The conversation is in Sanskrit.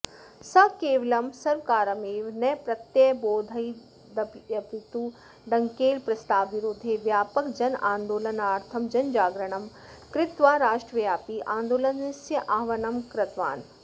स केवलं सर्वकारमेव न प्रत्यबोधयदपितु डंकेल प्रस्तावविरोधे व्यापकजनान्दोलनार्थं जनजागरणं कृत्वा राष्ट्रव्यापि आन्दोलनस्याह्वानं कृतवान्